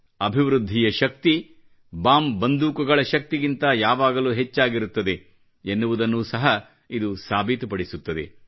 ಅಭಿವೃದ್ದಿಯ ಶಕ್ತಿ ಬಾಂಬ್ ಬಂದೂಕುಗಳ ಶಕ್ತಿಗಿಂತ ಯಾವಾಗಲೂ ಹೆಚ್ಚಾಗಿರುತ್ತದೆ ಎನ್ನುವುದನ್ನು ಸಹ ಇದು ಸಾಬೀತು ಪಡಿಸುತ್ತದೆ